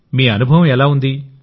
మీ అనుభవం ఎలా ఉంది